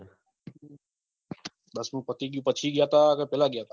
દસમું પતિ ગયું પછી ગયાતા કે પેહલા ગયાતા